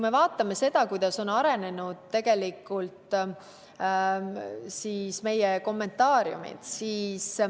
Vaatame seda, kuidas on arenenud meie kommentaariumid.